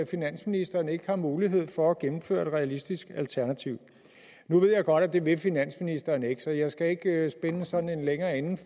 finansministeren ikke har mulighed for at gennemføre et realistisk alternativ nu ved jeg godt at det vil finansministeren ikke så jeg skal ikke spinde sådan en længere ende